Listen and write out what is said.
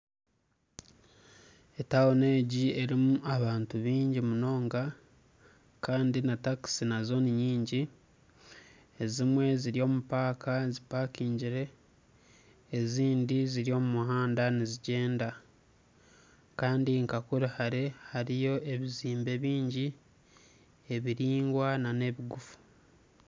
Etawuni egi erimu abantu bingi munoonga Kandi na takisi Nazo ninyingi, ezimwe ziri omu paaka zipakingire ezindi ziri omu muhanda nizigyenda Kandi nka kuri hare hariyo ebizimbe bingi ebiringwa n'ebigufu.